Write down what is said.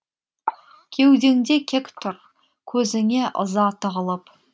кеудеңде кек тұр көзіңе ыза тығылып